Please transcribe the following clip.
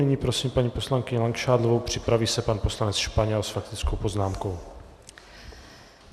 Nyní prosím paní poslankyni Langšádlovou, připraví se pan poslanec Španěl s faktickou poznámkou.